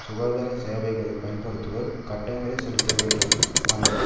சுகாதார சேவைகளை பயன்படுத்துவோர் கட்டணங்களை செலுத்தவேண்டும் அல்லது